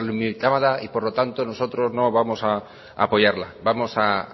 y por lo tanto nosotros no vamos a apoyarla vamos a